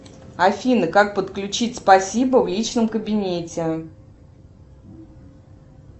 афина как подключить спасибо в личном кабинете